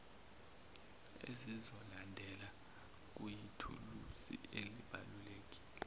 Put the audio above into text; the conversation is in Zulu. ezizolandela kuyithuluzi elibalulekile